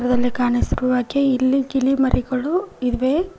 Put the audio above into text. ಅಲ್ಲಿ ಕಾಣಿಸಿರುವ ಹಾಗೆ ಇಲ್ಲಿ ಗಿಳಿ ಮರಿಗಳು ಇವೆ.